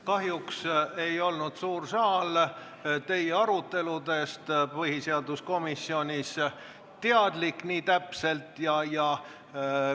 Kahjuks ei olnud suur saal teie põhiseaduskomisjonis peetud aruteludest nii täpselt teadlik.